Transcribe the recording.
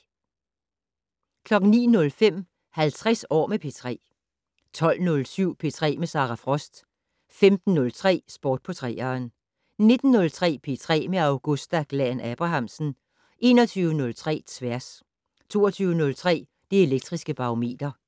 09:05: 50 år med P3 12:07: P3 med Sara Frost 15:03: Sport på 3'eren 19:03: P3 med Augusta Glahn-Abrahamsen 21:03: Tværs 22:03: Det Elektriske Barometer